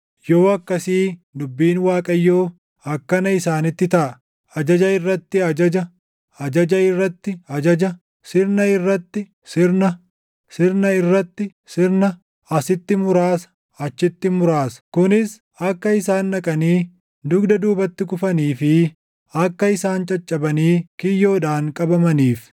Yoo akkasii dubbiin Waaqayyoo akkana isaanitti taʼa; ajaja irratti ajaja; ajaja irratti ajaja; sirna irratti sirna; sirna irratti sirna; asitti muraasa; achitti muraasa; kunis akka isaan dhaqanii dugda duubatti kufanii fi akka isaan caccabanii kiyyoodhaan qabamaniif.